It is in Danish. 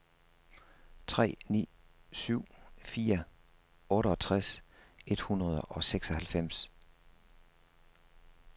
tre ni syv fire otteogtres et hundrede og seksoghalvfems